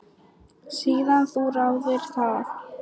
Síðan þú þáðir það?